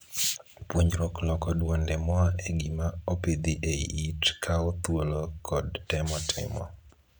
Puonjruok loko dwonde moa e gima opidhi ei it kawo thuolo kod temo timo.